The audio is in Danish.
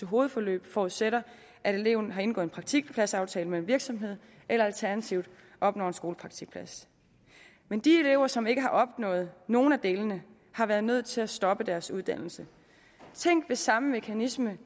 hovedforløb forudsætter at eleven har indgået en praktikpladsaftale med en virksomhed eller alternativt opnår en skolepraktikplads men de elever som ikke har opnået nogen af delene har været nødt til at stoppe deres uddannelse tænk hvis samme mekanisme